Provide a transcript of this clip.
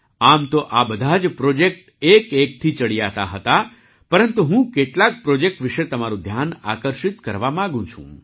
આમ તો આ બધા જ પ્રૉજેક્ટ એકએકથી ચડિયાતા હતા પરંતુ હું કેટલાક પ્રૉજેક્ટ વિશે તમારું ધ્યાન આકર્ષિત કરવા માગું છું